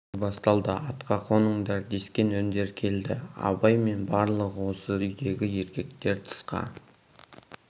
той басталды атқа қоныңдар дескен үндер келді абай мен барлық осы үйдегі еркектер тысқа